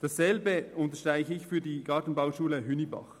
Dasselbe gilt für die Gartenbauschule Hünibach.